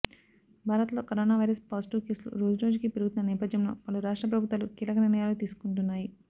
భారత్ లో corona virus positive కేసులు రోజురోజుకీ పెరుగుతున్న నేపథ్యంలో పలు రాష్ట్ర ప్రభుత్వాలు కీలక నిర్ణయాలు తీసుకుంటున్నాయి